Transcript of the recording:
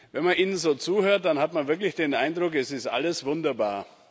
Wenn man Ihnen so zuhört, dann hat man wirklich den Eindruck, es ist alles wunderbar.